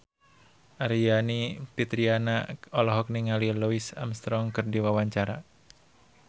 Aryani Fitriana olohok ningali Louis Armstrong keur diwawancara